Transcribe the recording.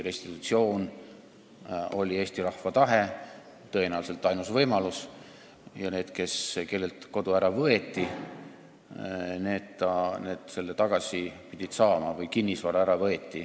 Restitutsioon oli Eesti rahva tahe, tõenäoliselt ainus võimalus, ja need, kellelt kodu või kinnisvara ära võeti, pidid selle tagasi saama.